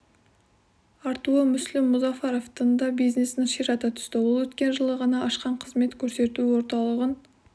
артуы мүсілім мұзафаровтың да бизнесін ширата түсті ол өткен жылы ғана ашқан қызмет көрсету орталығын